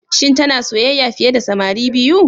Shin tana soyayya fiye da samari biyu?